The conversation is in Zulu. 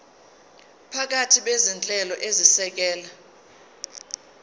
baphathi bezinhlelo ezisekela